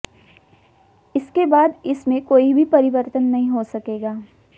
इसके बाद इसमें कोई भी परिवर्तन नहीं हो सकेगा